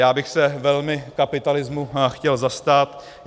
Já bych se velmi kapitalismu chtěl zastat.